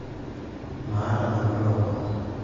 maata nanu lomon